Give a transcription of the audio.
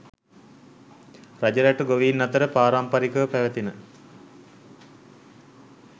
රජරට ගොවීන් අතර පාරම්පරිකව පැවැතෙන